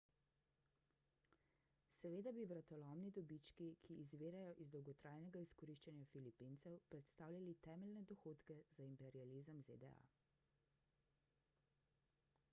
seveda bi vratolomni dobički ki izvirajo iz dolgotrajnega izkoriščanja filipincev predstavljali temeljne dohodke za imperializem zda